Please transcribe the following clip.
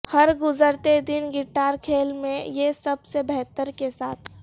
ہر گزرتے دن گٹار کھیل میں یہ سب سے بہتر کے ساتھ